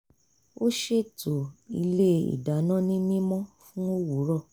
ó ṣètò ilé ìdáná ní mímọ́ fún òwúrọ̀